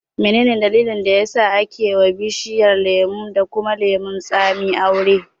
Menene dalilin da yasa ake wa bishiyar lemo da kuma lemon tsami aure?